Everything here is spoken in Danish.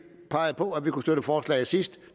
pegede på at vi kunne støtte forslaget sidst